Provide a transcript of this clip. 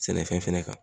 Sɛnɛfɛn fɛnɛ kan